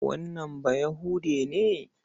Wannan Bayahude ne.